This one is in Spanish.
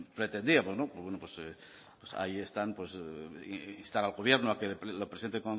pretendíamos pues bueno pues ahí están pues instar al gobierno a que lo presente